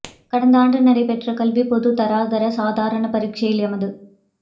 கடந்த ஆண்டு நடைபெற்ற கல்விப் பொதுத் தராதர சாதாரண பரீட்சையில் எமது